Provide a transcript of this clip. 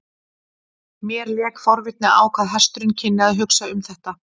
Mér lék forvitni á hvað hesturinn kynni að hugsa um þetta.